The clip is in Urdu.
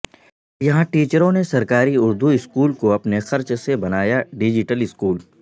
یہاں ٹیچروں نے سرکاری اردو اسکول کو اپنے خرچ سے بنایا ڈیجیٹل اسکول